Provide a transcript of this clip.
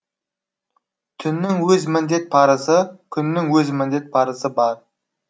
түннің өз міндет парызы күннің өз міндет парызы бар